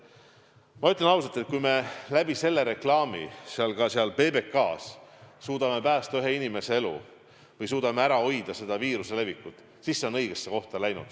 Ma ütlen ausalt, et kui me sellise reklaami abil, seda ka seal PBK-s, suudame päästa kas või ühe inimese elu või suudame natukenegi ära hoida viiruse levikut, siis see on õigesse kohta läinud.